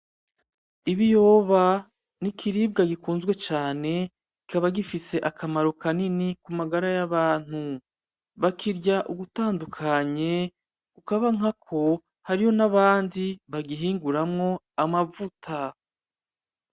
Ibiyoba ni ikiribwa gikunzwe cane, kikaba gifise akamaro kanini ku magara y'abantu, bakirya ugutandukanye, hakaba hariyo n'abandi bagihinguramwo amavuta.